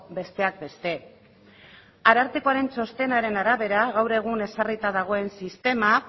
besteak beste arartekoren txostenaren arabera gaur egun ezarrita dagoen sistema